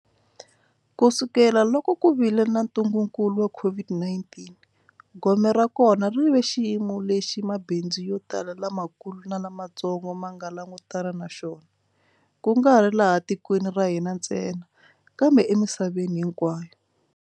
Kusukela loko ku vile na ntungukulu wa COVID-19, gome ra kona ri ve xiyimo lexi mabindzu yo tala lamakulu na lamatsongo ma nga langutana na xona, kungari laha tikweni ra hina ntsena kambe emisaveni hinkwayo.